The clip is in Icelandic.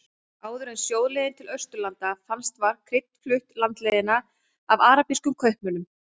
Áður en sjóleiðin til Austurlanda fannst var krydd flutt landleiðina af arabískum kaupmönnum.